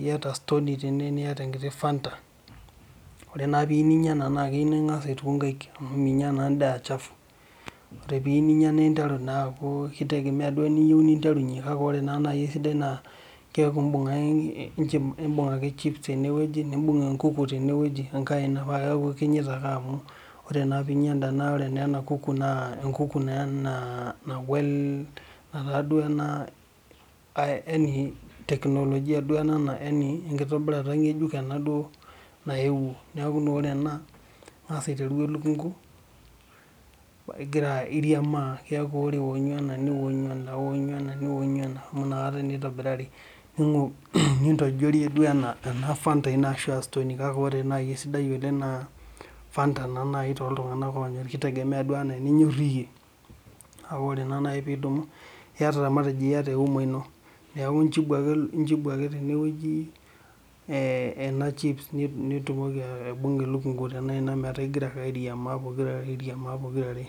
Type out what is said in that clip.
iyata Stony tene niyata enkiti fanta. Ore naa pii yieu ninya ena iyieu ninkasa aituku nkaik, amu minya naa endaa aachafu. Ore peeyieu ninya naa interu naa amu kitegemea duo ewoji niyieu ninterunyie, kake ore ewoji sidai keeku imbunk ake chips tenewoji nibunk enkuku tenewoji tenkae aina paa keeku ikinyita ake amu ore naa peeinya enda kuku naa enkuku naa taa duo teknologia duo ena naa enitobira duo ena nkejuk nayeuo neekuenaa ore ena ninkas aiteru elekunku iriamaa, keeku ore owonyu ena niwonyu ena, iwonyu ena niwonyu ena, amu nakata naa itobirari nintoijorie duo ena ena fanta ino ashu ashu stony kake ore naaji esidai oleng' naa fanta naa naa nai too tunganak onyorr kitegemea duo ena ninyor iyie paa ore naa nai piidimu iyata matejo euma ino neeku injibu ake ena chips nitumoki aibunga elukunku tena aina metaa igira ake airiamaa pokira are.